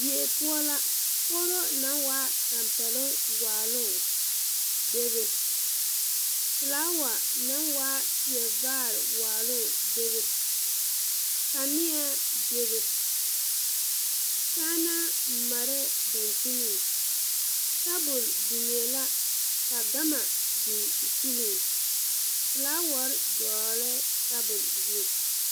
Die poɔ la kogro na naŋ waa tampeɛloŋ waaloŋ bebe flaawa naŋ waa kyire vaare waaloŋ bebe kanieaa bebe kyaanaa mareɛɛ daŋkyineŋ tabol biŋee la ka gama biŋ o puliŋ flaawarre dɔglɛɛ tabol zu.